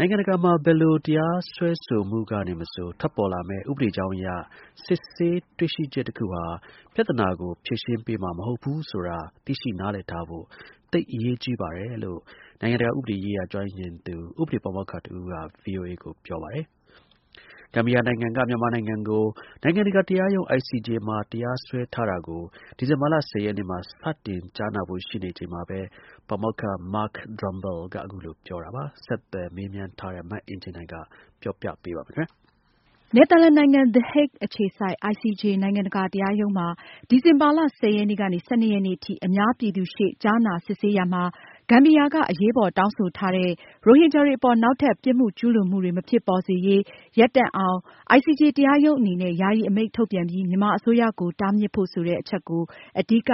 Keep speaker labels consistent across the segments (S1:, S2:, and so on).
S1: နိုင်ငံတကာမှာ ဘယ်လို တရားစွဲဆိုမှုကနေမဆို ထွက်လာမယ့် ဥပဒေကြောင်းအရ စစ်ဆေး တွေ့ရှိချက်တခုဟာ ပြဿနာကို ဖြေရှင်းပေးမှာ မဟုတ်ဘူးဆိုတာ သိရှိနားလည်ထားဖို့ သိပ်အရေးကြီးပါတယ်လို့ နိုင်ငံတကာဥပဒေရေးရာကျွမ်းကျင်သူ ဥပဒေ ပါမောက္ခတဦးက ဗွီအိုအေကိုပြောပါတယ်။ ဂမ်ဘီယာနိုင်ငံက မြန်မာနိုင်ငံကို နိုင်ငံတကာတရားရုံး ICJ မှာ တရားစွဲထားတာကို ဒီဇင်ဘာလ ၁၀ ရက်နေ့မှာ စတင်ကြားနာဖို့ရှိနေချိန်မှာပဲ ပါမောက္ခ Mark Drumbl က အခုလိုပြောတာပါ။ ဆက်သွယ် မေးမြန်း ထားတဲ့ မအင်ကြင်းနိုင်က ပြောပြပါမယ်။
S2: နယ်သာလန်နိုင်ငံ the Hague အခြေစိုက် ICJ နိုင်ငံတကာတရားရုံးမှာ ဒီဇင်ဘာလ ရက်နေ့ကနေ ရက်နေ့ ထိ အများပြည်သူရှေ့ ကြားနာစစ်ဆေးရာမှာ- ဂမ်ဘီယာက အရေးပေါ် တောင်းဆိုထားတဲ့ ရိုဟင်ဂျာတွေအပေါ် နောက်ထပ် ပြစ်မှုကျူးလွန်မှုတွေ မဖြစ်ပေါ်စေရေး ရပ်တန့်အောင် ICJ တရားရုံးအနေနဲ့ ယာယီ အမိန့်ထုတ်ပြန်ပြီး မြန်မာအစိုးရကို တားမြစ်ဖို့ ဆိုတဲ့ အချက်ဟာ အဓိက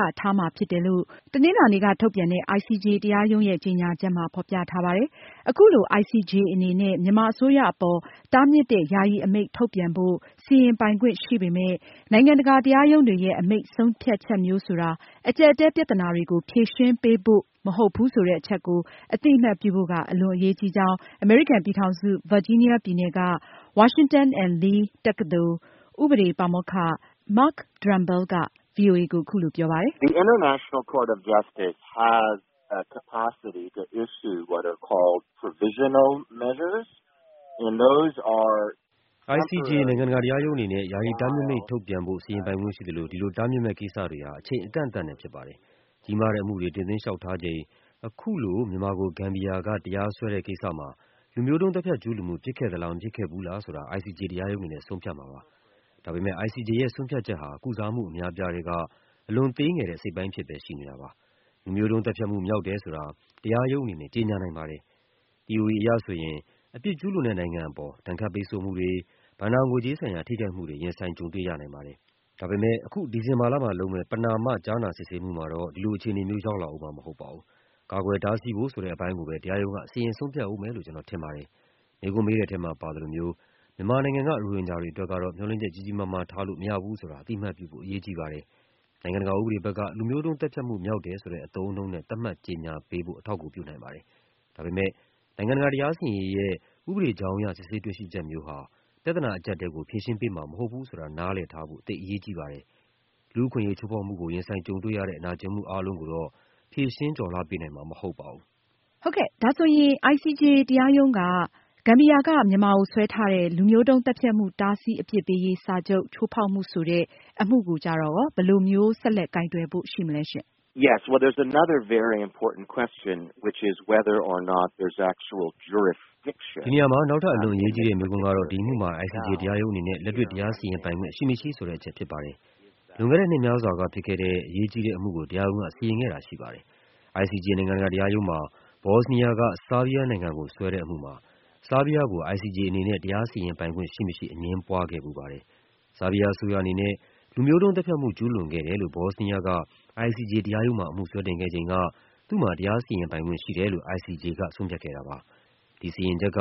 S2: ဖြစ်တယ်လို့ တနင်္လာနေ့က ထုတ်ပြန်တဲ့ ICJ တရားရုံးရဲ့ ထုတ်ပြန်ချက်မှာ ဖေါ်ပြထားပါတယ်။ အခုလို ICJ အနေနဲ့ မြန်မာအစိုးရအပေါ် တားမြစ်တဲ့ ယာယီအမိန့် ထုတ်ပြန်ဖို့ စီရင်ပိုင်ခွင့်ရှိပေမယ့် နိုင်ငံတကာတရားရုံးတွေရဲ့ အမိန့်ဆုံးဖြတ်ချက်မျိုးဆိုတာ အကြပ်အတည်း ပြဿနာတွေကို ဖြေရှင်းပေးဖို့ မဟုတ်ဘူးဆိုတဲ့ အချက်ကို အသိအမှတ်ပြုဖို့က အလွန် အရေးကြီးကြောင်း အမေရိကန်ပြည်ထောင်စု ဗာဂျီးနီးယားပြည်နယ်က Washington and Lee တက္ကသိုလ် ဥပဒေ ပါမောက္ခ Drumbl က ဗွီအိုအေကို အခုလိုပြောပါတယ်။
S3: “ICJ နိုင်ငံတကာတရားရုံးအနေနဲ့ ယာယီတားမြစ်မိန့် ထုတ်ပြန်ဖို့ စီရင်ပိုင်ခွင့်ရှိသလို ဒီလို တားမြစ်မယ့် ကိစ္စတွေဟာ အချိန် အကန့်အသတ်နဲ့ဖြစ်ပါတယ်။ ကြီးမားတဲ့အမှုတွေ တင်သွင်းလျောက်ထားချိန် အခုလို မြန်မာကို ဂမ်ဘီယာက တရားစွဲတဲ့ ကိစ္စမှာ ICJ တရားရုံးအနေနဲ့ လူမျိုးတုန်းသတ်ဖြတ် ကျူးလွန်မှု ဖြစ်ခဲ့သလား မဖြစ်ခဲ့ဘူးလားဆိုတာ ဆုံးဖြတ်မှာဖြစ်ပါတယ်။ ဒါပေမယ့် ICJ ရဲ့ ဆုံးဖြတ်ချက်ဟာ ကုစားမှုအများအပြားထဲက အလွန်သေးငယ်တဲ့ အစိတ်အပိုင်းအဖြစ်ပဲရှိနေတာပါ။ လူမျိုးတုန်းသတ်ဖြတ်မှု မြောက်တယ်ဆိုတာ တရားရုံးအနေနဲ့ ကြေညာနိုင်ပါတယ်။ သီအိုရီ အရဆိုရင် အပြစ်ကျူးလွန်တဲ့ နိုင်ငံအပေါ် ဒဏ်ခတ်ပိတ်ဆို့မှုတွေ၊ ဘဏ္ဍာငွေကြေးဆိုင်ရာ ထိခိုက်မှုတွေ ရင်ဆိုင် ကြုံတွေရနိုင်ပါတယ်။ ဒါပေမယ့် အခု ဒီဇင်ဘာလမှာ ပြုလုပ်မယ့် ပဏာမကြားနာစစ်ဆေးမှုမှာတော့ ဒီလို အခြေအနေမျိုး ရောက်လာအုံးမှာ မဟုတ်သေးပါဘူး။ ကာကွယ်တားဆီးဖို့ဆိုတဲ့ အပိုင်းကိုပဲ တရားရုံးက စီရင်ဆုံးဖြတ်အုံးမယ်လို့ပဲ ကျနော်ထင်ပါတယ်။ မေးခွန်းမေးတဲ့အထဲမှာ ပါသလိုမျိုး မြန်မာနိုင်ငံက ရိုဟင်ဂျာတွေအတွက်တော့ မျှော်လင့်ချက်ကြီးကြီးမားမား ထားလို့မရဘူးဆိုတာ အသိအမှတ်ပြုဖို့ အရေးကြီးပါတယ်။ နိုင်ငံတကာဥပဒေ ဘက်က လူမျိုးတုန်းသတ်ဖြတ်မှု မြောက်တယ်ဆိုတဲ့ အသုံးအနှုန်းနဲ့ သတ်မှတ်ကြေညာပေးဖို့ အထောက်အကူပြုနိုင်ပါတယ်။ ဒါပေမယ့် နိုင်ငံတကာ တရားစီရင်ရေးရဲ့ ဥပဒေကြောင်းအရ စစ်ဆေးတွေ့ရှိချက်မျိုးဟာ ပြဿနာ အကြပ်အတည်းကို ဖြေရှင်းပေးမှာမဟုတ်ဘူးဆိုတာ နားလည်ထားဖို့ သိပ်အရေးကြီးပါတယ်။ လူ့အခွင့်အရေး ချိုးဖောက်မှုကို ရင်ဆိုင်ကြုံတွေ့ရတဲ့ နာကျင်မှုအားလုံးကိုတော့ ဖြေရှင်းကျော်လွှားပေးနိုင်မှာ မဟုတ်ပါဘူး။
S2: ” အင်ကြင်းနိုင် ။ ။ ဒါဆိုရင် ICJ တရားရုံးက ဂမ်ဘီယာက မြန်မာကို စွဲထားတဲ့ လူမျိုးတုန်းသတ်ဖြတ်မှု တားဆီး၊ အပြစ်ပေးရေး စာချုပ် ချိုးဖောက်မှုဆိုတဲ့ အမှုကို ဘယ်လိုမျိုး ဆက်လက်ကိုင်တွယ် စီရင်ဖို့ရှိမလဲ။
S1: ပါမောက္ခ Drumbl ။ ။ ဒီ
S3: နေရာမှာ နောက်ထပ် အလွန်အရေးကြီးတဲ့ မေးခွန်းကတော့ ဒီအမှုမှာ ICJ တရားရုံးအနေနဲ့ လက်တွေ့တရားစီရင်ပိုင်ခွင့် ရှိမရှိဆိုတဲ့အချက်ဖြစ်ပါတယ်။ လွန်ခဲ့တဲ့ နှစ်များစွာက ဖြစ်ခဲ့တဲ့ အရေးကြီးတဲ့ အမှုကို တရားရုံးက စီရင်ခဲ့တာတော့ရှိခဲ့ပါတယ်။ ICJ နိုင်ငံတကာတရားရုံးမှာ ဘော့စနီးယားက ဆာဗီးရားနိုင်ငံကို စွဲတဲ့အမှုမှာ ဆာဗီးရားကို ICJ အနေနဲ့ တရားစီရင်ပိုင်ခွင့်ရှိမရှိ အငြင်းပွားခဲ့ဘူးပါတယ်။ ဆာဗီးရား အစိုးရအနေနဲ့ လူမျိုးတုန်းသတ်ဖြတ်မှု ကျူးလွန်ခဲ့တယ်လို့ ဘော့စနီးယာက ICJ တရားရုံးမှာ အမှုစွဲတင်ခဲ့ချိန်က သူ့မှာ တရားစီရင်ပိုင်ခွင့်ရှိတယ်လို့ ICJ က ဆုံးဖြတ်ခဲ့တာပါ။ ဒီစီရင်ချက်က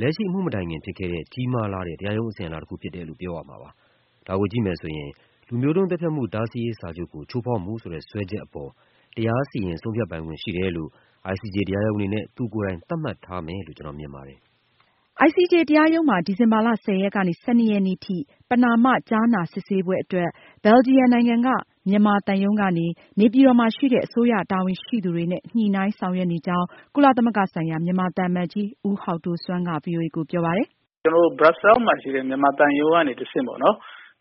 S3: လက်ရှိအမှု မတိုင်ခင်ဖြစ်ခဲ့တဲ့ ကြီးမားလှတဲ့ တရားရုံးအစဉ်အလာ တခုဖြစ်တယ်လို့ ပြောရမှာပါ။ ဒါကိုကြည့်မယ်ဆိုရင် လူမျိုးတုန်းသတ်ဖြတ်မှု တားဆီးရေးစာချုပ်ကို ချိုးဖောက်မှုဆိုတဲ့ စွဲချက်အပေါ်မှာ တရားစီရင်ဆုံးဖြတ်ပိုင်ခွင့်ရှိတယ်လို့ ICJ တရားရုံးအနေနဲ့ သူကိုယ်တိုင် သတ်မှတ်ထားမယ်လို့ ကျနော်မြင်ပါတယ်။
S2: ICJ တရားရုံးမှာ ဒီဇင်ဘာလ ရက်ကနေ ရက်နေ့ ထိ ပဏာမကြားနာစစ်ဆေးပွဲအတွက် ဘယ်လ်ဂျီယန်နိုင်ငံက မြန်မာသံရုံးကနေ နေပြည်တော်မှာရှိတဲ့ အစိုးရတာဝန်ရှိသူတွေနဲ့ ညှိုနှိုင်းဆောင်ရွက်နေကြောင်း ကုလသမဂ္ဂဆိုင်ရာ မြန်မာသံအမတ်ကြီး ဦးဟောက်ဒိုဆွမ်းက ဗွီအိုအေကိုပြောပါတယ်
S1: ။ “ကျနော်တို့ Brussels မှာရှိတဲ့ မြန်မာသံရုံးကနေတဆင့်ပေါ့ ။ သူ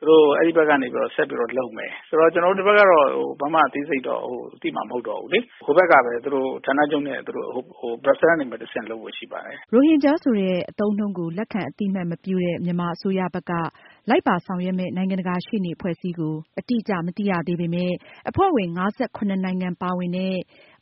S1: တို့ အဲဒီဘက်ကနေပြီးတော့ ဆက်ပြီးတော့ လုပ်မယ် ဆိုတော့ ကျနော်တို့ ဒီဘက်ကတော့ ဘာမှ အသေးစိတ်တော့ သိမှာမဟုတ်ဘူးလေ။ ဟိုဘက်ကပဲ ဌာနချုပ်နဲ့ Brussels ကနေတဆင့်လုပ်ဖို့ရှိပါတယ်။
S2: ” ရိုဟင်ဂျာဆိုတဲ့ အသုံးအနှုန်းကို အသိအမှတ်မပြုတဲ့ မြန်မာအစိုးရဘက်က လိုက်ပါဆောင်ရွက်မယ့် နိုင်ငံတကာရှေ့နေအဖွဲ့အစည်းကို အတိအကျမသိရသေးပေမယ့် အဖွဲ့ဝင် ၅၇ နိုင်ငံပါဝင်တဲ့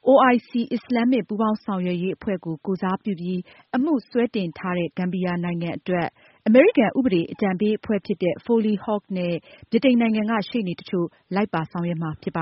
S2: OIC အစ္စလာမ်မစ်ပူးပေါင်းဆောင်ရွက်ရေးအဖွဲ့ကို ကိုယ်စားပြုပြီး အမှုစွဲတင်ထားတဲ့ ဂမ်ဘီယာနိုင်ငံအတွက် အမေရိကန်ဥပဒေအကြံပေးအဖွဲ့ Foley Hoag နဲ့ ဗြိတိန်နိုင်ငံက ရှေ့နေတချို့ လိုက်ပါဆောင်ရွက်မှာဖြစ်ပါ